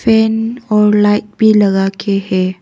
Fan और light भी लगा के है।